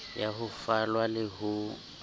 ya ho falwa le ho